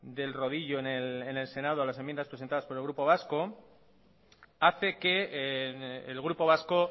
del rodillo en el senado a las enmiendas presentadas por el grupo vasco hace que el grupo vasco